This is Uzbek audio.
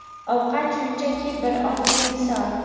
Ovqat shunchaki bir oddiy misol.